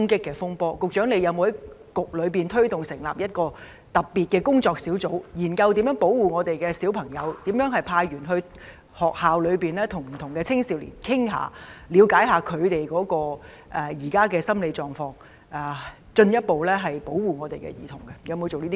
局長有否在局內推動成立特別工作小組，研究如何保護兒童，以及派員到學校跟不同的青少年溝通，了解他們目前的心理狀況，並進一步保護兒童？